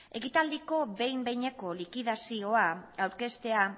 ekitaldiko behin behineko likidazioa aurkeztea